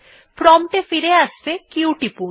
prompt এ ফিরে আসতে q টিপুন